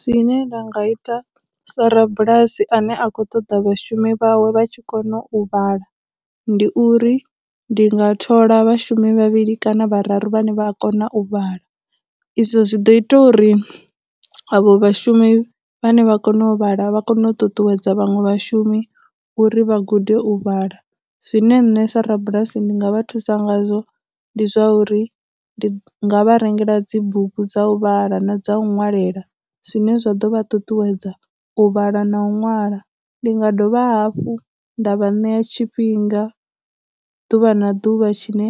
Zwine nda nga ita sa rabulasi ane a khou ṱoḓa vhashumi vhawe vha tshi kona u vhala ndi uri, ndi nga thola vhashumi vhavhili kana vhararu vhane vha a kona u vhala, izwo zwi ḓo ita uri avho vhashumi vhane vha kona u vhala vha kone u ṱuṱuwedza vhaṅwe vhashumi uri vha gude u vhala. Zwine nṋe sa rabulasi ndi nga vha thusa ngazwo ndi zwauri ndi nga vha rengela dzibugu dza u vhala na dza u nwalela, zwine zwa ḓo vha ṱuṱuwedza u vhala na u ṅwala, ndi nga dovha hafhu nda vha ṋea tshifhinga ḓuvha na ḓuvha tshine